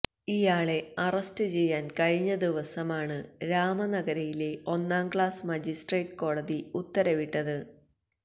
ഇയാളെ അറസ്റ്റ് ചെയ്യാൻ കഴിഞ്ഞ ദിവസമാണ് രാമനഗരയിലെ ഒന്നാംക്ലാസ് മജിസ്ട്രേട്ട് കോടതി ഉത്തരവിട്ടത്